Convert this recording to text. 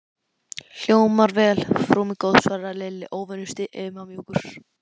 Hljómar vel, frú mín góð svaraði Lilli, óvenju stimamjúkur.